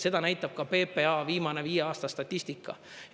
Seda näitab ka PPA viimase viie aasta statistika.